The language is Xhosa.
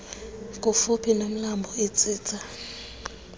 kufuphi nomlambo itsitsa